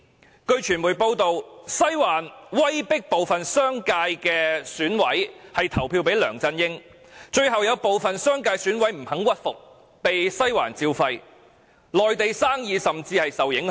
根據傳媒報道，"西環"威迫部分商界選委投票給梁振英，最後有部分商界選委不肯屈服，被"西環照肺"，連內地生意亦受到影響。